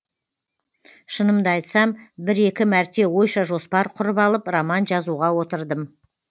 шынымды айтсам бір екі мәрте ойша жоспар құрып алып роман жазуға отырдым